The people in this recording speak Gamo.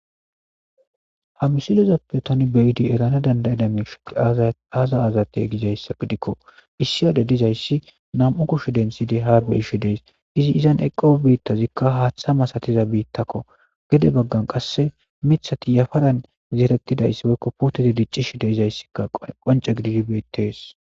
ha misilozappe tani beyidi erana dandayadame shoq aaza azatey gizayssa gidikko issi ade dizayssi nam7u kushe densyide haarwe7isho dees izi izan eqqo biittazikka haaththa masatiza biittakko gede baggan qasse mithati yafadan zeetettidayssi woykko puuteti diccishi de izayssikka qonce gididi bettees